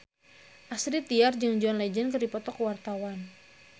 Astrid Tiar jeung John Legend keur dipoto ku wartawan